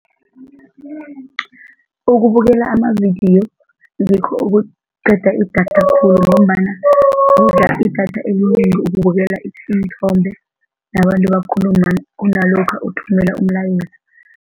Ukubukela amavidiyo ngikho okuqeda idatha khulu ngombana kudla idatha elinengi ukubukela iinthombe nabantu bakhuluma kunalokha uthumela umlayezo.